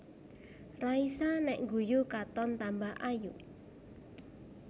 Raisa nek ngguyu katon tambah ayu